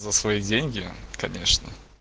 за свои деньги конечно